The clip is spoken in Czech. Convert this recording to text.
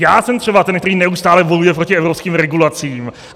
Já jsem třeba ten, který neustále bojuje proti evropským regulacím.